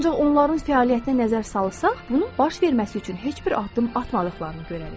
Ancaq onların fəaliyyətinə nəzər salsaq, bunun baş verməsi üçün heç bir addım atmadıqlarını görərik.